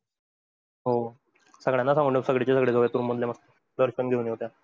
हो, सगळ्यांना सांगून ठेव सगळीचे सगळे जाऊयात room मधले मग दर्शन येऊयात.